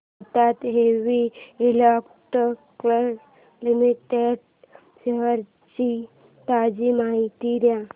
Bharat heavy electricals limited shares ची ताजी माहिती दे